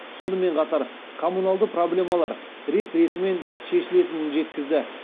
сонымен қатар коммуналды проблемалар рет ретімен шешілетінін жеткізді